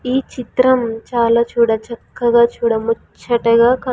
ఈ చిత్రము చాలా చూడ చక్కగా చూడ ముచ్చటగా కన్--